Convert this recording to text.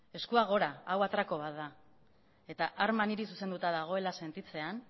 eskuak gora hau atraku bat da eta arma niri zuzenduta dagoela sentitzean